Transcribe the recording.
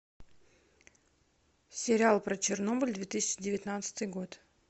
сериал про чернобыль две тысячи девятнадцатый год